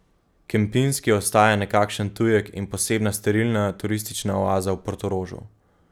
Kempinski ostaja nekakšen tujek in posebna sterilna turistična oaza v Portorožu.